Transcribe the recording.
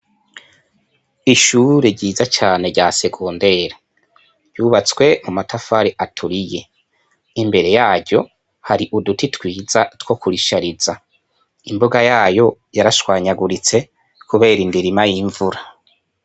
Ishure ryiza cane rya segonderi, ryubatswe mu matafari aturiye, imbere yaryo, hari uduti twiza two kurishariza. Imbuga yayo yarashwanyaguritse kubera indirima y'imvura.